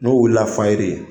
N'o wulila fayiri.